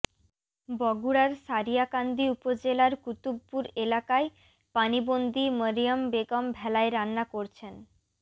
বগুড়ার সারিয়াকান্দি উপজেলার কুতুবপুর এলাকায় পানিবন্দি মরিয়ম বেগম ভেলায় রান্না করছেন